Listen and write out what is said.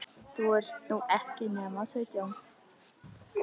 þú ert nú ekki nema sautján.